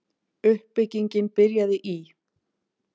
Uppbyggingin byrjaði í